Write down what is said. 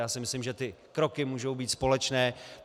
Já si myslím, že ty kroky můžou být společné.